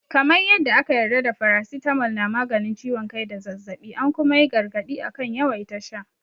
Kamar yadda aka yarda da faracitamol na maganin ciwon kai da zazzaɓi, an kuma yi gargaɗi akan yawaita sha.